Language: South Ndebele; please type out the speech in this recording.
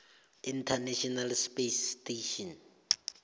international space station